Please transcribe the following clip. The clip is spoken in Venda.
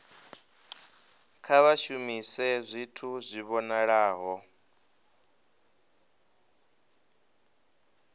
kha vha shumise zwithu zwi vhonalaho